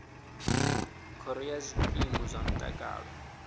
khoro ya zwikimu zwa mutakalo